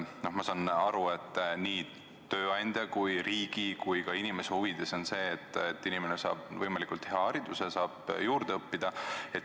Ma saan aru, et nii tööandja kui riigi kui ka inimese huvides on see, et inimene saab võimalikult hea hariduse, saab juurde õppida.